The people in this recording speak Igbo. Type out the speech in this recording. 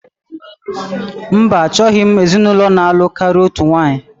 Mba, achọghị m ezinụlọ na-alụ karịa otu nwaanyị